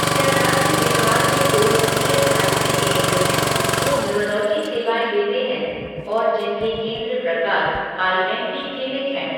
क्या राज्य बिहार में कोई ईएसआईसी केंद्र हैं जो न्यूरोलॉजी सेवाएँ देते हैं और जिनके केंद्र प्रकार आईएमपी क्लीनिक है?